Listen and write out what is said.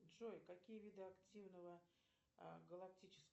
джой какие виды активного галактического